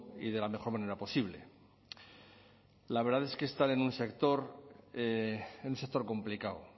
y de la mejor manera posible la verdad es que están en un sector complicado